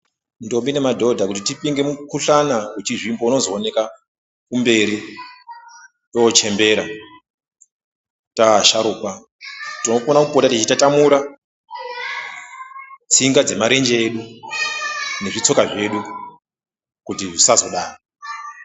Ntombi nemadhodha kuti tipinge mukuhlana uchizvimba unozooneka kumberi tochembera taasharukwa tinofana kupota techitatamura tsinga dzemarenje edu nezvitsoka zvedu kuti zvisazodaro.